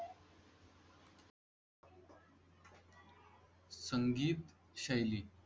संगीत शैली.